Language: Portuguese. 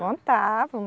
Contavam.